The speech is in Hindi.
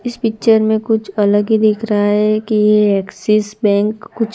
इस पिक्चर में कुछ अलग ही दिख रा है कि ये एक्सिस बैंक कुछ--